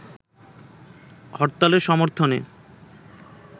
হরতালের সর্মথনে